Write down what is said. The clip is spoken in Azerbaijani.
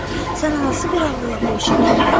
Sən hansı bir ağılla bu işi tutdun?